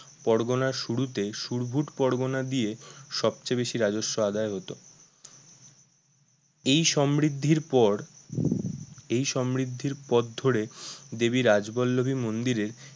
পরগনা শুরুতে শুরভুট পরগনা দিয়ে সবচেয়ে বেশি রাজস্ব আদায় হত এই সমৃদ্ধির পর এই সমৃদ্ধির পথ ধরে দেবী রাজবল্লভী মন্দিরের